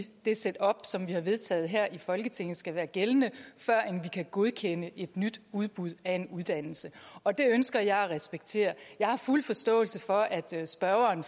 det setup som vi har vedtaget her i folketinget skal være gældende førend vi kan godkende et nyt udbud af en uddannelse og det ønsker jeg at respektere jeg har fuld forståelse for at spørgeren